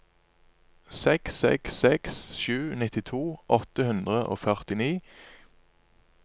seks seks seks sju nittito åtte hundre og førtini